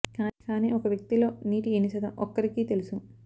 కానీ ఒక వ్యక్తి లో నీటి ఎన్ని శాతం ఒక్కరికీ తెలుసు